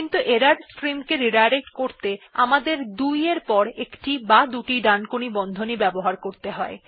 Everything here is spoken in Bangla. কিন্তু ত্রুটির স্ট্রিম কে রিডাইরেক্ট করতে আমাদের ২ এর পর একটি বা দুটি ডানকোণী বন্ধনী ব্যবহার করতে হয়